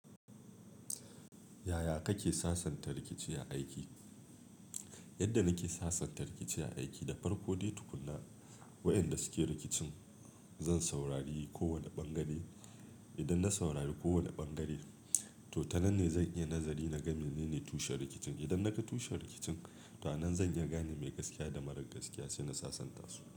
Yaya kake sasanta rikici a aiki? Yadda nake sasanta rikici a aiki, da farko dai tukunna waɗanda suke rikicin zan saurari kowane ɓangare. Idan na saurari kowane ɓangare, to ta nan ne zan iya nazari na gani menene tushen rikicin. Idan na ga tushen rikicin, ta nan zan iya gane mai gaskiya da marar gaskiya sai na sasanta su.